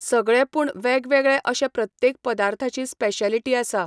सगळे पूण वेगवेगळे अशे प्रत्येक पदार्थाची स्पेश्येलिटी आसा.